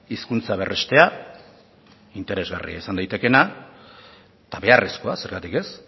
hizkuntza berrestea interesgarria izan daitekeena eta beharrezkoa zergatik ez